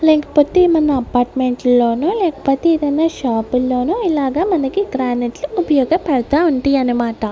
లేకపోతే ఏమన్నా అపార్ట్మెంట్లో ను లేకపోతే ఏదైనా షాపు ల్లోనూ ఇలాగ మనకి గ్రానైట్ ఉపయోగ పడతా ఉంటాయన్నమాట.